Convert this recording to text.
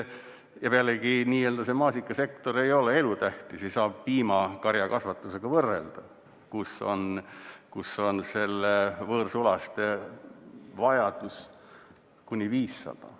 Ja pealegi maasikasektor ei ole elutähtis, seda ei saa võrrelda piimakarjakasvatusega, kus on võõrsulaste vajadus kuni 500.